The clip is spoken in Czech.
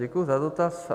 Děkuji za dotaz.